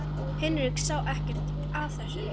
Henrik sá ekkert að þessu.